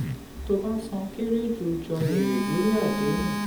tó bá san kere ju jọ èrè lórí àdéhùn.